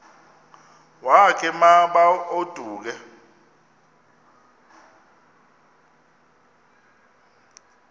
wakhe ma baoduke